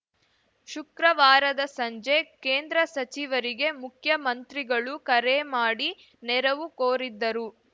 ಶುಕ್ರವಾರದ ಸಂಜೆ ಕೇಂದ್ರ ಸಚಿವರಿಗೆ ಮುಖ್ಯಮಂತ್ರಿಗಳು ಕರೆ ಮಾಡಿ ನೆರವು ಕೋರಿದ್ದರು